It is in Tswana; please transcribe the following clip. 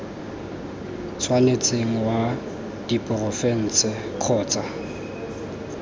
tshwanetseng wa diporofense kgotsa c